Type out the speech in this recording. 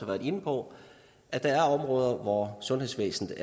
været inde på at der er områder hvor sundhedsvæsenet